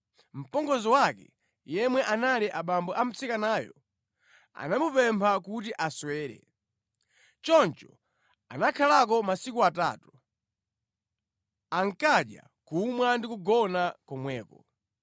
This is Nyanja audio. Mpongozi wake, yemwe anali abambo a mtsikanayo, anamupempha kuti aswere. Choncho anakhalako masiku atatu. Ankadya, kumwa ndi kugona komweko.